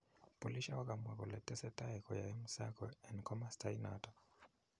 Polishek kokamwa kole tesetai kuyae msako en komosta inaton